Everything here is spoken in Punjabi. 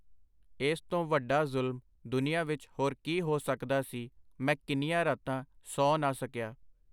ਏਸ ਤੋਂ ਵਡਾ ਜ਼ੁਲਮ ਦੁਨੀਆਂ ਵਿਚ ਹੋਰ ਕੀ ਹੋ ਸਕਦਾ ਸੀ? ਮੈਂ ਕਿੰਨੀਆਂ ਰਾਤਾਂ ਸੌਂ ਨਾ ਸਕਿਆ.